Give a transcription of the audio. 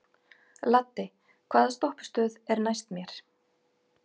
Laddi, hvaða stoppistöð er næst mér?